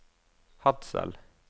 Hadsel